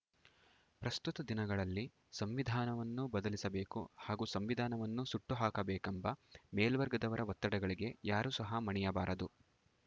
ಪ್ರಸ್ತುತ ದಿನಗಳಲ್ಲಿ ಸಂವಿಧಾನವನ್ನು ಬದಲಿಸಬೇಕು ಹಾಗೂ ಸಂವಿಧಾನವನ್ನು ಸುಟ್ಟು ಹಾಕಬೇಕೆಂಬ ಮೇಲ್ವರ್ಗದವರ ಒತ್ತಡಗಳಿಗೆ ಯಾರು ಸಹ ಮಣಿಯಬಾರದು